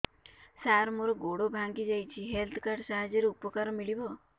ସାର ମୋର ଗୋଡ଼ ଭାଙ୍ଗି ଯାଇଛି ହେଲ୍ଥ କାର୍ଡ ସାହାଯ୍ୟରେ ଉପକାର ମିଳିବ